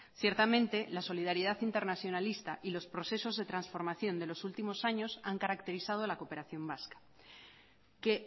ciertamente la solidaridad internacionalista y los procesos de transformación de los últimos años han caracterizado la cooperación vasca que